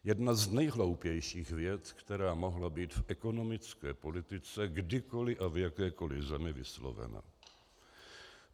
Jedna z nejhloupějších vět, která mohla být v ekonomické politice kdykoli a v jakékoli zemi vyslovena.